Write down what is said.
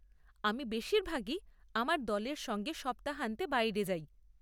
আমি বেশিরভাগই আমার দলের সঙ্গে সপ্তাহান্তে বাইরে যাই।